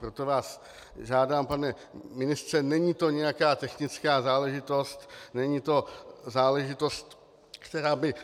Proto vás žádám, pane ministře, není to nějaká technická záležitost, není to záležitost, která by